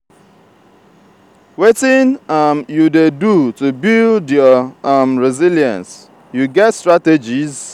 wetin um you dey do to build your um resilience you get strategies?